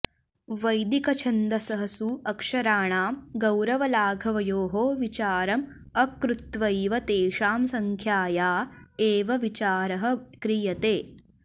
वैदिकछन्दःसु अक्षराणां गौरवलाघवयोः विचारम् अकृत्वैव तेषां संख्याया एव विचारः क्रियते